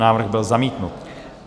Návrh byl zamítnut.